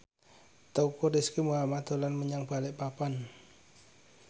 Teuku Rizky Muhammad dolan menyang Balikpapan